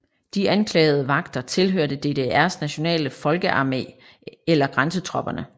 De anklagede vagter tilhørte DDRs nationale folkearmé eller grænsetropperne